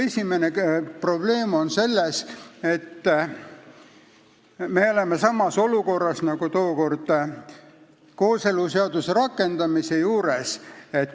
Esimene probleem on selles, et me oleme samas olukorras nagu tookord kooseluseaduse rakendamise seaduse eelnõuga.